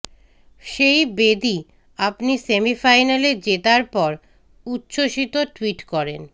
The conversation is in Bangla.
সেই বেদী আপনি সেমিফাইনালে জেতার পর উচ্ছ্বসিত টুইট করেন